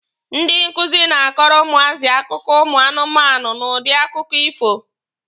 Ndị nkuzi na-akọrọ ụmụazị akụkọ ụmụ anụmanụ n'udi akụkọ ifo.